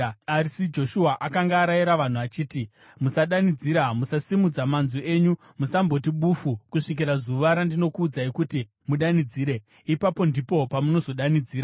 Asi Joshua akanga arayira vanhu achiti, “Musadanidzira, musasimudzira manzwi enyu, musamboti bufu kusvikira zuva randinokuudzai kuti mudanidzire, ipapo ndipo pamunozodanidzira!”